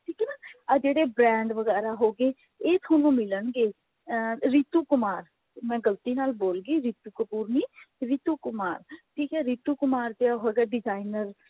ਠੀਕ ਹੈ ਨਾ ਆਹ ਜਿਹੜੇ brand ਵਗੇਰਾ ਹੋ ਗਏ ਇਹ ਤੁਹਾਨੂੰ ਮਿਲਣਗੇ ਅਹ ਰੀਤੂ ਕੁਮਾਰ ਮੈਂ ਗਲਤੀ ਨਾਲ ਬੋਲਗੀ ਰੀਤੂ ਕਪੂਰ ਨੀ ਰੀਤੂ ਕੁਮਾਰ ਠੀਕ ਹੈ ਰੀਤੂ ਕੁਮਾਰ ਦਾ ਹੈਗਾ designer